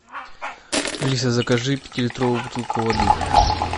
алиса закажи пятилитровую бутылку воды